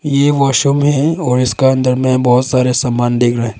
ये वॉशरूम है और इसका अंदर में बहुत सारे सामान दिख रा--